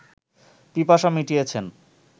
পিপাসা মিটিয়েছেন